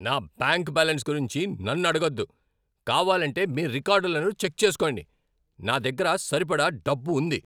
నా bank balance గురించి నన్ను అడగొద్దు. కావాలంటే మీ రికార్డులను చెక్ చేసుకోండి. నా దగ్గర సరిపడా డబ్బుంది.